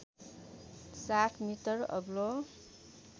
७ metre अग्लो